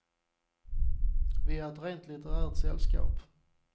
Vi är ett rent litterärt sällskap.